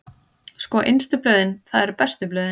Sko, innstu blöðin, það eru bestu blöðin.